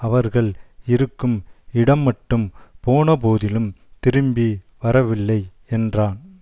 அவர்கள் இருக்கும் இடமட்டும் போனபோதிலும் திரும்பி வரவில்லை என்றான்